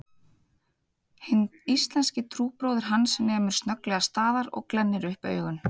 Hinn íslenski trúbróðir hans nemur snögglega staðar og glennir upp augun